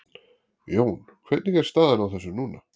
Jón, hvernig er staðan á þessu núna?